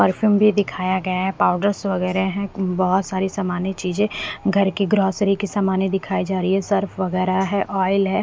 Perfume भी दिखाया गया है पाउडर्स वगैरह है बहुत सारी सामान चीजें घर की ग्रोसरी की सामान दिखाई जा रही है सर्फ वगैरह है ऑइल हैं।